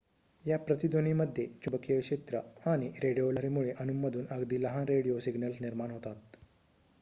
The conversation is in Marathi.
या प्रतिध्वनीमध्ये चुंबकीय क्षेत्र आणि रेडिओ लहरींमुळे अणूंमधून अगदी लहान रेडिओ सिग्नल्स निर्माण होतात